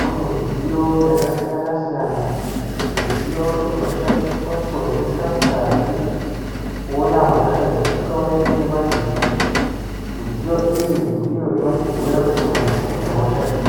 mune midziyo yakasiyana-siyana, midziyo inoshandiswa kuvheneka ngazi, kuona hosha dzisingaoneki ngemadziso, midziyo iyi ndiyo inotibhuyira kuti muntu une hosha iri.